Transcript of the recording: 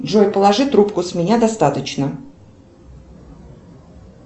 джой положи трубку с меня достаточно